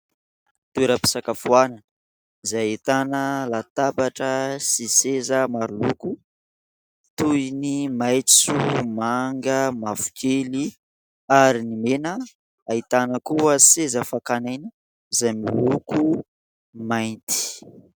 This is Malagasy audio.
Toeram-pisakafoanana, izay ahitana latabatra sy seza maroloko, toy ny maitso, manga, mavokely ary ny mena. Ahitana koa seza fankan'aina izay moloko mainty.